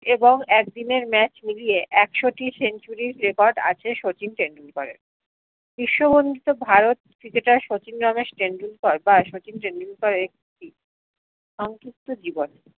এবং এক দিনের match মিলিয়ে একশো টি century record আজকে শচীন টেন্ডুলকার বিশ্ব ভারত ক্রিকেটার শচীন রমেশ টেন্ডুলকার বা শচীন টেন্ডুলকারের একটি সংক্ষিপ্ত জীবন